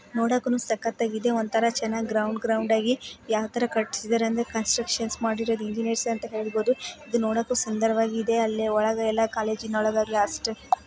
ನೋಡೋಕುನು ಸಕ್ಕತ್ತಾಗಿದೆ ಒಂತರ ಚೆನ್ನಾಗಿ ಗ್ರೌಂಡ್ ಗ್ರೌಂಡ್ ಆಗಿ ಯಾತರ ಕಟ್ಸಿದರೆ ಅಂದ್ರೆ ಕನ್ಸ್ಟ್ರಕ್ಷನ್ ಮಾಡಿರೋದು ಇಂಜಿನಿಯರ್ಸ್ ಅಂತನೇ ಹೇಳಬಹುದು. ಇದು ನೋಡೋಕು ಸುಂದರವಾಗಿದೆ ಅಲ್ಲಿ ಒಳಗೆಲ್ಲ ಕಾಲೇಜಿನ ಒಳಗೆಲ್ಲ ಅಷ್ಟ--